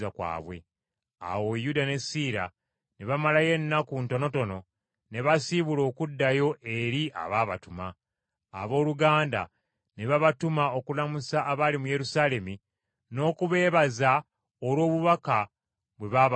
Awo Yuda ne Siira ne bamalayo ennaku ntonotono ne basiibula okuddayo eri abaabatuma. Abooluganda ne babatuma okulamusa abali mu Yerusaalemi n’okubeebaza olw’obubaka bwe baabaweereza.